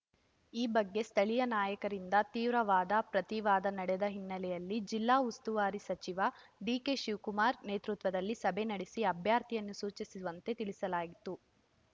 ಈ ಬಗ್ಗೆ ಸ್ಥಳೀಯ ನಾಯಕರಿಂದ ತೀವ್ರ ವಾದ ಪ್ರತಿವಾದ ನಡೆದ ಹಿನ್ನೆಲೆಯಲ್ಲಿ ಜಿಲ್ಲಾ ಉಸ್ತುವಾರಿ ಸಚಿವ ಡಿಕೆ ಶಿವಕುಮಾರ್‌ ನೇತೃತ್ವದಲ್ಲಿ ಸಭೆ ನಡೆಸಿ ಅಭ್ಯರ್ಥಿಯನ್ನು ಸೂಚಿಸುವಂತೆ ತಿಳಿಸಲಾಯಿತು